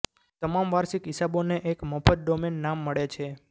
તમામ વાર્ષિક હિસાબોને એક મફત ડોમેન નામ મળે છે